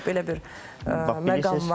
Belə bir məqam varmı?